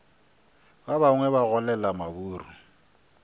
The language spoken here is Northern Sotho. ba bangwe ba golela maburu